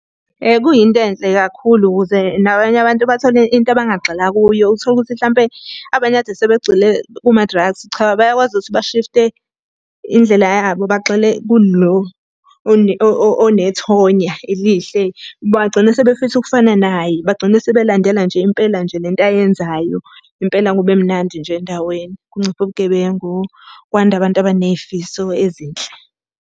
Kuyinto enhle kakhulu ukuze nabanye abantu bathole into abangagxila kuyo. Uthole ukuthi hlampe abanye kade sebegxile kuma-drugs, cha bayakwazi ukuthi bashifte indlela yabo bagxile kulo onethonya elihle. Bagcine sebefisa ukufana naye, bagcine sebelandela nje impela nje le nto ayenzayo. Impela kube mnandi nje endaweni, kunciphe ubugebengu. Kwande abantu abaney'fiso ezinhle.